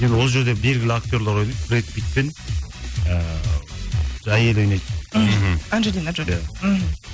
енді ол жерде белгілі актерлар ойнайды бред питт пен ы жаңағы әйелі ойнайды мхм анжелина джоли иә мхм